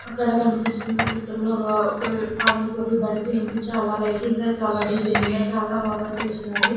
అక్కడ కనిపిస్తున్న చిత్రం లో ఒక ఆ ఒక పానీ పూరీ బండి ఉంది చాల లైటింగ్ గా చాల డిజైనింగ్ గా చాలా బాగా చేసినారు.